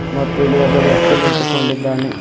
ಮತ್ತು ಇಲ್ಲಿ ಒಬ್ಬ ವ್ಯಕ್ತಿ ನಿಂತುಕೊಂಡಿದ್ದಾನೆ.